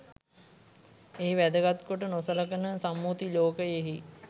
එහි වැදගත් කොට නොසලකන සම්මුති ලෝකයෙහි